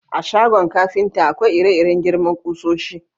A shagon kafinta, akwai ire-iren girman kusoshi.